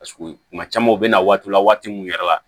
Paseke kuma caman u bɛ na waatiw la waati min yɛrɛ la